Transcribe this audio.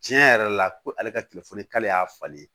Tiɲɛ yɛrɛ la ko ale ka telefɔni k'ale y'a falen